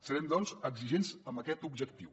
serem doncs exigents amb aquest objectiu